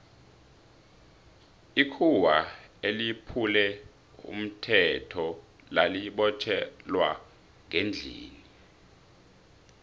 ikhuwa eliphule umthetho lali botjhelwa ngendlini